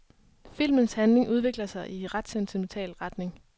Filmens handling udvikler sig i ret sentimental retning.